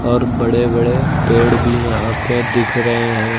और बड़े बड़े पेड़ भी यहां पे दिख रहे हैं।